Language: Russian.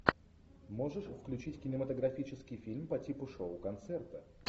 можешь включить кинематографический фильм по типу шоу концерта